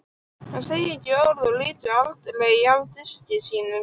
Hann segir ekki orð og lítur aldrei af diski sínum.